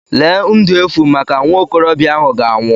Lee ndu efu maka nwa okorobịa ahụ ga-anwụ.